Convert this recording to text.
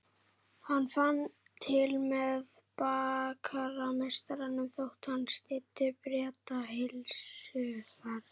Hann fann til með bakarameistaranum þótt hann styddi Breta heilshugar.